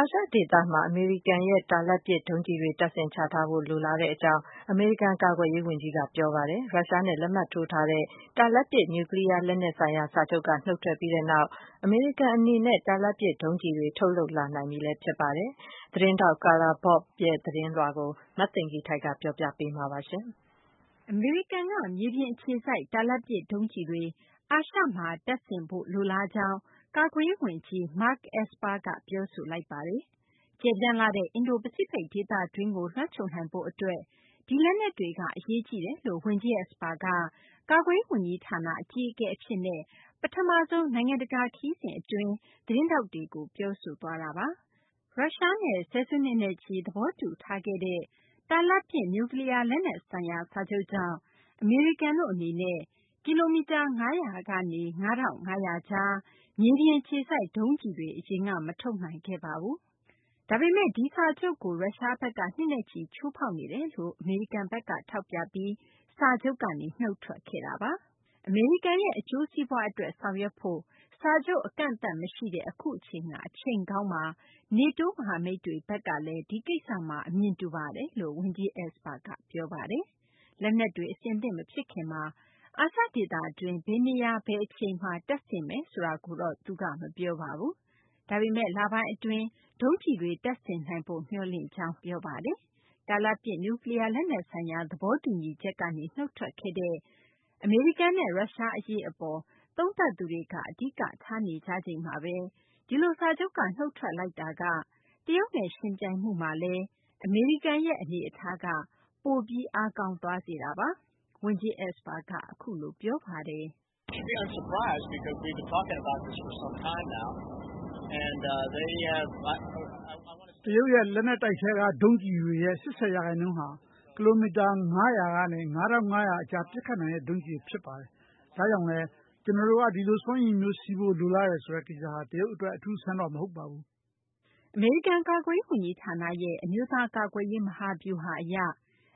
အာရှ ဒေသမှာ အမေရိကန်ရဲ့ တာလတ်ပစ် ဒုံးကျည်တွေ တပ်ဆင်ချထားဖို့ လိုလားကြောင်း အမေရိကန် ကာကွယ်ရေး ဝန်ကြီးက ပြောဆိုလိုက်ပါတယ်။ ရုရှားနဲ့ လက်မှတ်ထိုးထားတဲ့ တာလတ်ပစ် နျူးကလီးယား လက်နက်ဆိုင်ရာ စာချုပ်က နုတ်ထွက်ပြီးနောက် အမေရိကန် အနေနဲ့ တာလတ်ပစ် ဒုံးကျည်တွေ ထုတ်လုပ်နိုင်ပြီလည်း ဖြစ်ပါတယ်။ Carla Babb ရဲ့ သတင်းကို မသိင်္ဂ ီထိုက် ပြောပြပေးပါမယ်။ ဟုတ်ကဲ့ပါ။ အမေရိကန်က မြေပြင် အခြေစိုက် တာလတ်ပစ် ဒုံးကျည်တွေ အာရှမှာ တပ်ဆင်ထားဖို့ လိုလားကြောင်း ကာကွယ်ရေး ဝန်ကြီး Mark Esper က ပြောဆိုလိုက်ပါတယ်။ ကျယ်ပြန့်လှတဲ့ အင်ဒို - ပစိဖိတ် ဒေသတွင်းကို လွှမ်းခြုံနိုင်ဖို့ အတွက် ဒီလက်နက်တွေက အရေးကြီးတယ်လို့ ဝန်ကြီး Esper က ကာကွယ်ရေး ဝန်ကြီးဌာန အကြီးအကဲ အဖြစ်နဲ့ ပထမဆုံး နိုင်ငံတကာ ခရီးစဉ် အတွင်း သတင်းထောက်တွေကို ပြောဆိုသွားတာပါ။ ရုရှားနဲ့ ဆယ်စုနှစ်နဲ့ချီ သဘောတူထားခဲ့တဲ့ တာလတ်ပစ် နျူးကလီးယား လက်နက်ဆိုင်ရာ စာချုပ်ကြောင့် အမေရိကန်တို့ အနေနဲ့ ကီလိုမီတာ ၅၀၀ ကနေ ၅၅၀၀ ကြား မြေပြင် အခြေစိုက် ဒုံးကျည်တွေ အရင်က မထုတ်နိုင်ခဲ့ပါဘူး။ ဒါပေမယ့် ဒီစာချုပ်ကို ရုရှားဘက်က နှစ်နဲ့ချီ ချိုးဖောက်နေတယ်လို့ ထောက်ပြပြီး အမေရိကန်က စာချုပ်ကနေ နုတ်ထွက်ခဲ့တာပါ။ ကျနော်တို့ရဲ့ အကျိုးစီးပွား အတွက် ဆောင်ရွက်ဖို့ စာချုပ် အကန့်အသတ် မရှိတဲ့ အခုက အချိန်ကောင်းပါ။ NATO မဟာမိတ်တွေ ဘက်ကလည်း ဒီကိစ္စမှာ အမြင်တူပါတယ်လို့ ဝန်ကြီး Esper က ပြောပါတယ်။ လက်နက်တွေ အဆင်သင့် မဖြစ်ခင်မှာ အာရှဒေသတွင်း ဘယ်နေရာ ဘယ်အချိန်မှာ တပ်ဆင်နိုင်မလဲ ဆိုတာကိုတော့ သူက မပြောပါဘူး။ ဒါပေမယ့် လပိုင်းအတွင်း ဒုံးကျည်တွေ တပ်ဆင်နိုင်ဖို့ မျှော်လင့်ကြောင်း ပြောပါတယ်။ တာလတ်ပစ် နျူးကလီးယား လက်နက်ဆိုင်ရာ သဘောတူညီချက်ကနေ နုတ်ထွက်ခဲ့တဲ့ အမေရိကန်နဲ့ ရုရှား အရေး အပေါ် သုံသပ်သူတွေက အဓိကထား နေကြချိန်မှာဘဲ ဒီလို စာချုပ်က နုတ်ထွက်လိုက်တာက တရုတ်နဲ့ ယှဉ်ပြိုင်မှုမှာလည်း အမေရိကန်ရဲ့ အနေအထားက ပိုပြီး အားကောင်းသွားစေတာပါ။ ဝန်ကြီး Esper က အခုလို ပြောပါတယ်။ “တရုတ်ရဲ့ လက်နက်တိုက်က ဒုံးကျည်တွေရဲ့ ၈၀ ရာခိုင်နှုန်းက ကီလိုမီတာ ၅၀၀ ကနေ ၅၅၀၀ ကြား ဒုံးကျည်တွေ ဖြစ်ပါတယ်။ ဒါကြောင့်လည်း ကျနော်တို့က ဒီလို စွမ်းရည်မျိုး ရှိဖို့ လိုလားမှုက တရုတ် အတွက် အထူးအဆန်း မဟုတ်ပါဘူး။” အမေရိကန် ကာကွယ်ရေး ဝန်ကြီးဌာနရဲ့ အမျိုးသား ကာကွယ်ရေးမဟာဗျူဟာ အရ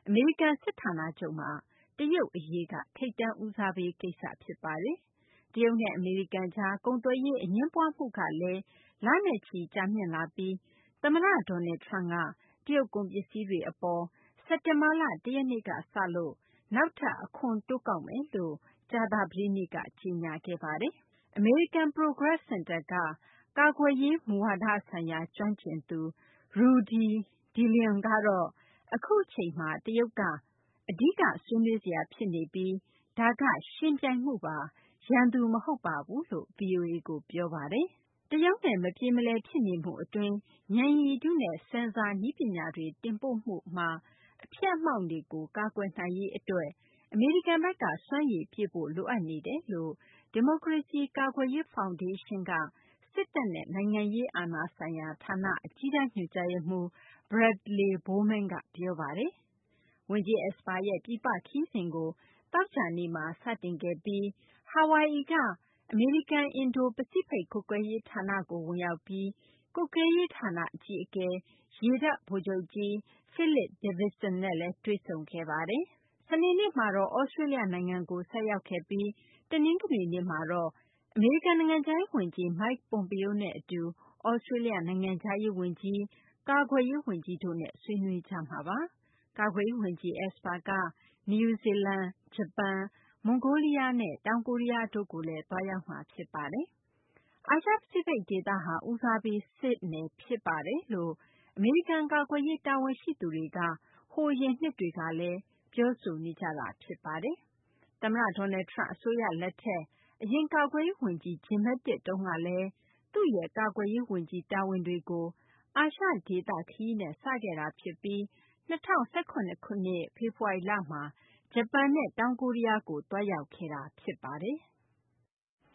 အမေရိကန် စစ်ဌာနချုပ်မှာ တရုတ် အရေးက ထိပ်တန်းဦးစားပေး ကိစ္စ ဖြစ်ပါတယ်။ တရုတ်နဲ့ အမေရိကန်ကြား ကုန်သွယ်ရေး အငြင်းပွားမှုကလည်း လနဲ့ချီ ကြာမြင့်လာပြီး သမ္မတ Donald Trump က တရုတ် ကုန်ပစ္စည်းတွေ အပေါ် စက်တင်ဘာလ ၁ ရက်နေ့က စလို့ နောက်ထပ် အခွန်တိုးကောက်မယ်လို့ ကြာသပတေးနေ့က ကြေညာခဲ့ပါတယ်။ American Progress စင်တာက ကာကွယ်ရေး မူဝါဒဆိုင်ရာ ကျွမ်းကျင်သူ Rudy deLeon ကတော့ အခုအချိန်မှာ တရုတ်က အဓိက ဆွေးနွေးစရာ ဖြစ်နေပြီး ဒါက ယှဉ်ပြိုင်မှုပါ၊ ရန်သူ မဟုတ်ပါဘူးလို့ ဗွီအိုအေကို ပြောပါတယ်။ တရုတ်နဲ့ မပြေမလည် ဖြစ်နေမှု အတွင်း ညဏ်ရည်တုနဲ့ Sensor နည်းပညာတွေ တင်ပို့မှု အတွင်း အဖျက်အမှောင့်တွေကို ကာကွယ်နိုင်ရေး အတွက် အမေရိကန်ဘက်က စွမ်းရည်ပြည့်ဖို့ လိုအပ်နေတယ်လို့ ဒီမိုကရေစီ ကာကွယ်ရေး ဖောင်ဒေးရှင်းက စစ်တပ်နဲ့ နိုင်ငံရေး အာဏာဆိုင်ရာ ဌာနက အကြီးတန်း ညွှန်ကြားရေးမှူး Bradely Bowman က ပြောပါတယ်။ ဝန်ကြီး Esper ရဲ့ ပြည်ပ ခရီးစဉ်ကို သောကြာနေ့မှာ စတင်ခဲ့ပြီး ဟာဝိုင်အီက အမေရိကန် အင်ဒို ပစိဖိတ် ကွပ်ကဲရေးဌာနကို ဝင်ရောက်ပြီး ကွပ်ကဲရေးဌာန အကြီးအကဲ ရေတပ်ဗိုလ်ချုပ်ကြီး Philip Davidson နဲ့လည်း တွေ့ဆုံခဲ့ပါတယ်။ စနေနေ့မှာတော့ သြစတေးလျ နိုင်ငံကို ဆိုက်ရောက်ခဲ့ပြီး တနင်္ဂနွေနေ့မှာတော့ အမေရိကန် နိုင်ငံခြားရေး ဝန်ကြီး Mike Pompeo နဲ့ အတူ သြစတေးလျ နိုင်ငံခြားရေး၊ ကာကွယ်ရေး ဝန်ကြီးတို့နဲ့ ဆွေးနွေးကြမှာပါ။ ကာကွယ်ရေး ဝန်ကြီး Esper က နယူးဇီလန်၊ ဂျပန်၊ မွန်ဂိုးလီးယားနဲ့ တောင်ကိုရီးယားတို့ကိုလည်း သွားရောက်မှာ ဖြစ်ပါတယ်။ အာရှ ပစိဖိတ် ဒေသဟာ ဦးစားပေး စစ်နယ် ဖြစ်ပါတယ်လို့ အမေရိကန် ကာကွယ်ရေး တာဝန်ရှိသူတွေက ဟိုအရင်နှစ်တွေကလည်း ကပြောဆိုနေကြတာ ဖြစ်ပါတယ်။ သမ္မတ Donald Trump အစိုးရ လက်ထက် အရင် ကာကွယ်ရေး ဝန်ကြီး Jim Mattis တုန်းကလည်း သူ့ရဲ့ ကာကွယ်ရေး ဝန်ကြီး တာဝန်တွေကို အာရှ ဒေသ ခရီးနဲ့ စခဲ့တာ ဖြစ်ပြီး ၂၀၁၇ ခုနှစ် ဖေဖော်ဝါရီလမှာ ဂျပန်နဲ့ တောင်ကိုရီးယားကို သွားရောက်ခဲ့တာ ဖြစ်ပါတယ်။